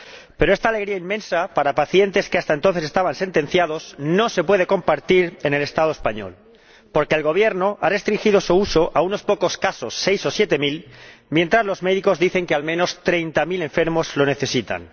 Pero esta alegría inmensa para pacientes que hasta entonces estaban sentenciados no se puede compartir en el Estado español, porque el Gobierno ha restringido su uso a unos pocos casos —seis o siete mil—, mientras los médicos dicen que al menos treinta mil enfermos lo necesitan.